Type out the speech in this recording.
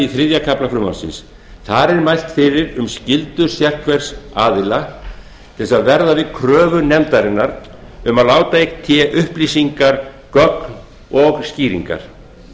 þriðja kafla frumvarpsins þar er mælt fyrir um skyldu sérhvers aðila til að verða við kröfu nefndarinnar um að láta í té upplýsingar gögn og skýringar